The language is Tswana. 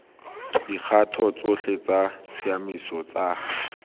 dikgato tsotlhe tsa tshiamiso tsa